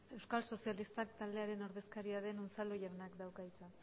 euskal socialista taldearen ordezakaria den unzalu jaunak dauka hitza